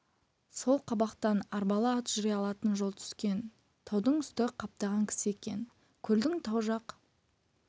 сол қабақтан арбалы ат жүре алатын жол түскен таудың үсті қаптаған кісі екен көлдің тау жақ